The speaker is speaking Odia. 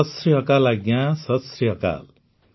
ସତ୍ ଶ୍ରୀ ଅକାଲ୍ ଆଜ୍ଞା ସତ୍ ଶ୍ରୀ ଅକାଲ୍